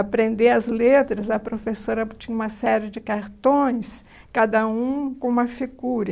Aprender as letras, a professora tinha uma série de cartões, cada um com uma figura.